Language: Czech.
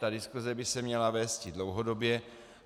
Ta diskuse by se měla vésti dlouhodobě.